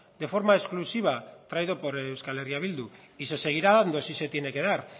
de forma exclusiva traído por euskal herria bildu y se seguirá dando si se tiene que dar